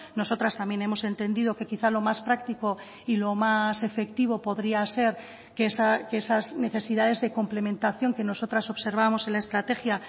nosotras también hemos entendido que quizá lo más práctico y lo más efectivo podría ser que esas necesidades de complementación que nosotras observamos en la estrategia